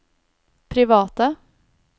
private